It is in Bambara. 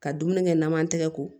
Ka dumuni kɛ naman tɛgɛ ko